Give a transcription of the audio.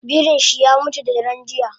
Birinshi yamutu dadaren jiya